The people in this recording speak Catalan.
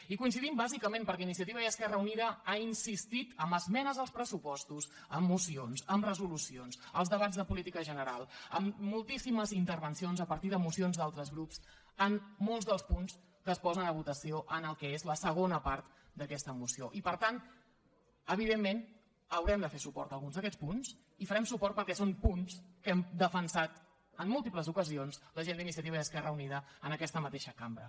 hi coincidim bàsicament perquè iniciativa i esquerra unida ha insistit amb esmenes als pressupostos amb mocions amb resolucions als debats de política general amb moltíssimes intervencions a partir de mocions d’altres grups en molts dels punts que es posen a votació en el que és la segona part d’aquesta moció i per tant evidentment haurem de fer suport a alguns d’aquests punts i farem suport perquè són punts que hem defensat en múltiples ocasions la gent d’iniciativa i esquerra unida en aquesta mateixa cambra